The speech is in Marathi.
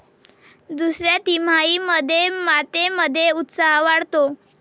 दुसऱ्या तिमाहीमध्ये मातेमध्ये उत्साह वाढतो.